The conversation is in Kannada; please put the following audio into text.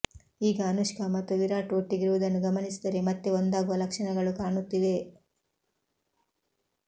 ಈಗ ಅನುಷ್ಕಾ ಮತ್ತು ವಿರಾಟ್ ಒಟ್ಟಿಗಿರುವುದನ್ನು ಗಮನಿಸಿದರೆ ಮತ್ತೆ ಒಂದಾಗುವ ಲಕ್ಷಣಗಳು ಕಾಣುತ್ತಿವೆ